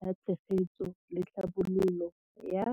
la Tshegetso le Tlhabololo ya.